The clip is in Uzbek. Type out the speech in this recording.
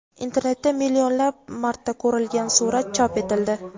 Internetda millionlab marta ko‘rilgan surat chop etildi.